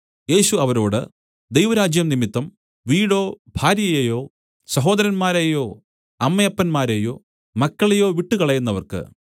യേശു അവരോട് ദൈവരാജ്യം നിമിത്തം വീടോ ഭാര്യയെയോ സഹോദരന്മാരെയോ അമ്മയപ്പന്മാരെയോ മക്കളെയോ വിട്ടുകളയുന്നവർക്ക്